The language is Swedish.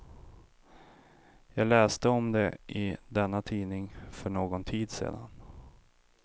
Jag läste om det i denna tidning för någon tid sedan.